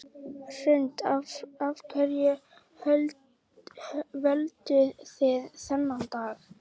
Hrund: Af hverju völduð þið þennan dag?